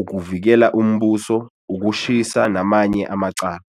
ukuvukela umbuso, ukushisa namanye amacala.